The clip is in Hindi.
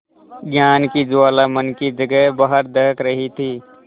ज्ञान की ज्वाला मन की जगह बाहर दहक रही थी